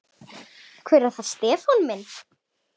Hver er það Stefán minn?